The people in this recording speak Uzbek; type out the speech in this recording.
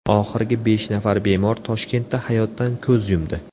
Oxirgi besh nafar bemor Toshkentda hayotdan ko‘z yumdi.